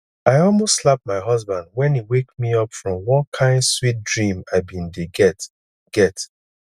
i almost slap my husband wen he wake me up from one kin sweet dream i bin dey get get